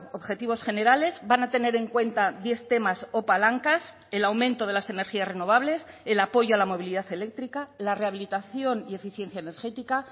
objetivos generales van a tener en cuenta diez temas o palancas el aumento de las energías renovables el apoyo a la movilidad eléctrica la rehabilitación y eficiencia energética